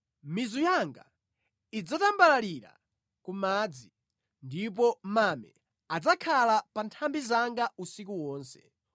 Mizu yanga idzatambalalira ku madzi, ndipo mame adzakhala pa nthambi zanga usiku wonse.